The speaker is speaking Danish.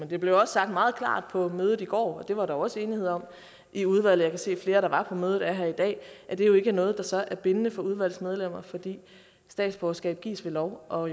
det blev også sagt meget klart på mødet i går og det var der jo også enighed om i udvalget jeg kan se flere der var på mødet er her i dag at det jo ikke er noget der så er bindende for udvalgsmedlemmer fordi statsborgerskab gives ved lov og